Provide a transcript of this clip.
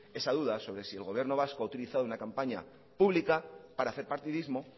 esa duda sobre si el gobierno vasco ha utilizado una campaña pública para hacer partidismo